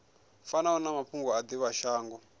fanaho na mafhungo a divhashango